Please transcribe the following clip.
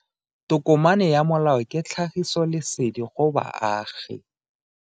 Tokomane ya molao ke tlhagisi lesedi go baagi.